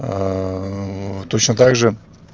точно также